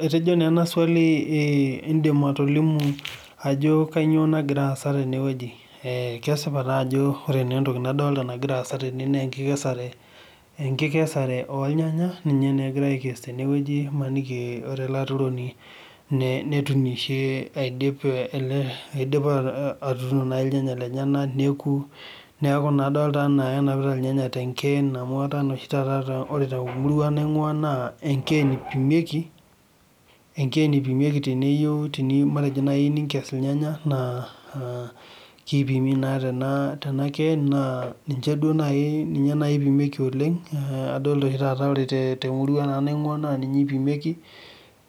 Etejo naa ena swali eh idim atolimu ajo kainyioo nagira aasa tene wueji. Eh kesipa taa ajo ore naa etoki nadolita nagira aasa tene naa ekikesare olnyanya ninye naa, egirae aikes tene wueji maniki eh ore ele aturoni netunishe eidipa atuuno naaji ilnyanya lenyenak neeku. Neaku naa adolita enaa kenapita ilnyanya tekeen amu etaa naa oshi taata ore itau temurua naingua naa ekereni ipimieki. Ekereni ipimieki teniyieu matejo naaji tenikes ilnyanya naa ah kipimi naa tena keeni naa ninche duo naai ipimieki oleng eh adolita oshi taata temurua nanu naingua naa ninye ipimieki.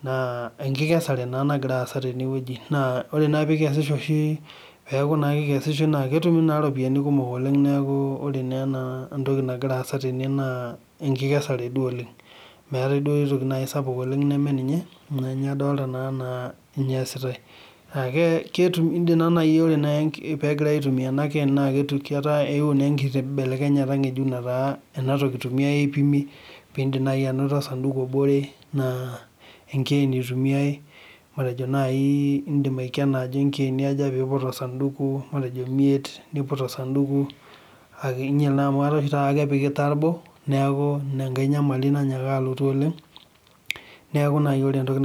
Naa akikesare naa nagira aasa tene weuji naa, ore naa pee ikesisho oshi peeku naa kikesishoi naa ketumi naa iropiyani kumok oleng naa ninye naa etoki nagira aasa tene naa ekikesare duo oleng, meetae duo aitoki sapuk oleng neme ninye, ninye adolita enaa ninye eesitae. Ah idim naaji pegirae aitumia ena keeni naa ketae ewuo naa enkibelekenyeta ngejuk netaa enatoki eitumiae peetumi, pee idim naaji anoto osanduku obore naa, ekeeni eitumiae matejo naaji idim aikena atejo ikeeni aja pee iput osanduku matejo imiet input osanduku akeyie, kenyial naa amu, etaa oshi taata kepiki itabo neaku, ina enkae nyamali naanyaka alotu oleng. Neaku naaji ore etoki.